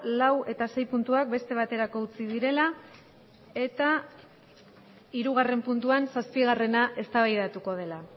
lau eta sei puntuak beste baterako utzi direla eta hirugarren puntuan zazpigarrena eztabaidatuko dela